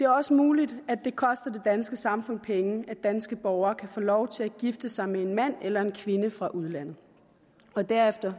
også muligt at det koster det danske samfund penge at danske borgere kan få lov til at gifte sig med en mand eller kvinde fra udlandet for derefter